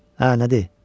Hə, nədir?